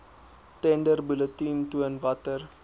tenderbulletin toon watter